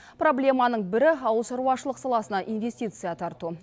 проблеманың бірі ауылшаруашылық саласына инвестиция тарту